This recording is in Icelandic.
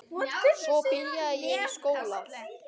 Svo byrjaði ég í skóla.